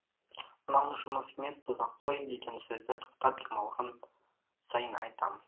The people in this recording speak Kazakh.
мынау жұмыс емес дозақ қой деген сөзді тоқтап демалған сайын айтам